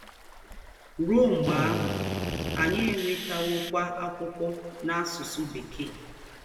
Ruo mgbe ahụ, anyị enwetawokwa akwụkwọ n'asụsụ Bekee.